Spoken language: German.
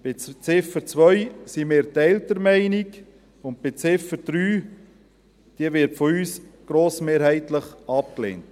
bei Ziffer 2 sind wir geteilter Meinung, und Ziffer 3 wird von uns grossmehrheitlich abgelehnt.